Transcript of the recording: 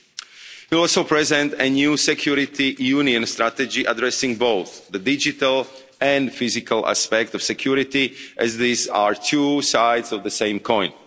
We will also present a new security union strategy addressing both the digital and physical aspect of security as these are two sides of the same